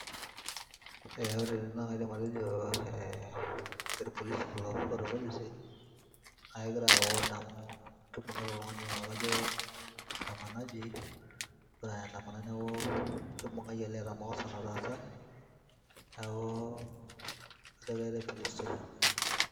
eh, ore tene naa kaidim atejo eh, irpolisi kulo, ore irpolisi naa kegira ayau order amu kibung'ita oltungani laa kajo andamanaji ogira aeandamana neeku kibung'aki ele eeta makosa natasa neeku kajo keyaitae police station.